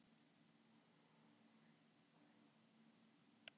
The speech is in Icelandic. Það er heimsmet.